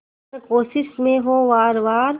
हर कोशिश में हो वार वार